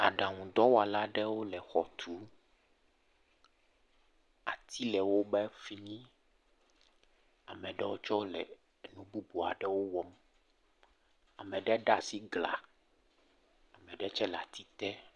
Aɖaŋudɔwɔlaɖewo le xɔ tum ati le wo ƒe fi mi ameɖewo tse le nu bubuwo wɔm ameɖe ɖaa asi gla ameɖe tse le ati te.